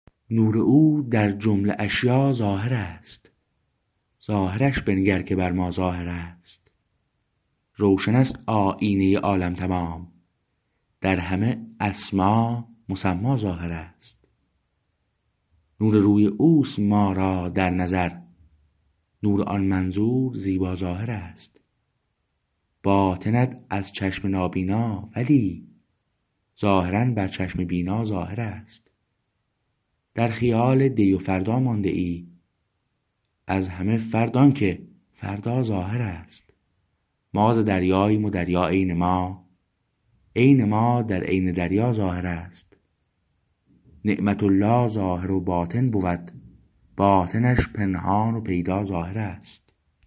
نور او در جمله اشیاء ظاهر است ظاهرش بنگر که بر ما ظاهر است روشنست آیینه عالم تمام در همه اسما مسما ظاهر است نور روی اوست ما را در نظر نور آن منظور زیبا ظاهر است باطنت از چشم نابینا ولی ظاهرا بر چشم بینا ظاهر است در خیال دی و فردا مانده ای از همه فرد آنکه فردا ظاهر است ما ز دریاییم و دریا عین ما عین ما در عین دریا ظاهر است نعمة الله ظاهر و باطن بود باطنش پنهان و پیدا ظاهر است